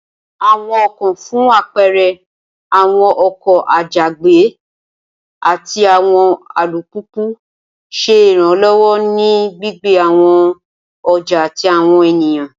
Awọn ọkọ fun apẹẹrẹ awọn oko àjàgbé, àti awọn àlùpupù ṣe iranlọwọ ni gbígbé awọn ọja ati awọn ènìyàn